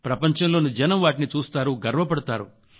ప్రపంచంలోని జనం వాటిని చూస్తారు గర్వపడతారు